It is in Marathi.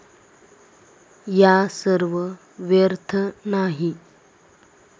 या सर्व व्यर्थ नाही.